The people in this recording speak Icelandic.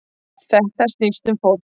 Þetta snýst um fólk